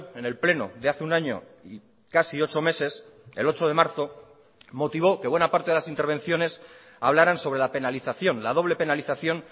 en el pleno de hace un año y casi ocho meses el ocho de marzo motivó que buena parte de las intervenciones hablaran sobre la penalización la doble penalización